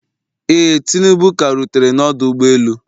Ee, tinubu ka rutere na ọdụ ụgbọ elu